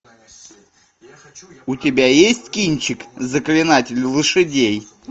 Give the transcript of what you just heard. у тебя есть кинчик заклинатель лошадей